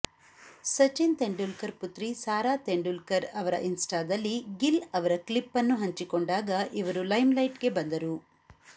ಸಚಿನ್ ತೆಂಡೂಲ್ಕರ್ ಪುತ್ರಿ ಸಾರಾ ತೆಂಡೂಲ್ಕರ್ ಅವರ ಇನ್ಸ್ಟಾದಲ್ಲಿ ಗಿಲ್ ಅವರ ಕ್ಲಿಪ್ ಅನ್ನು ಹಂಚಿಕೊಂಡಾಗ ಇವರು ಲೈಮ್ಲೈಟ್ಗೆ ಬಂದರು